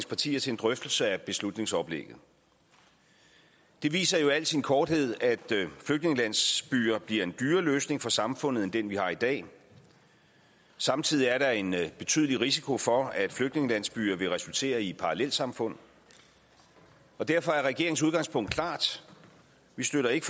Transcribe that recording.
partier til en drøftelse af beslutningsoplægget det viser jo i al sin korthed at flygtningelandsbyer bliver en dyrere løsning for samfundet end den vi har i dag samtidig er der en betydelig risiko for at flygtningelandsbyer vil resultere i parallelsamfund og derfor er regeringens udgangspunkt klart vi støtter ikke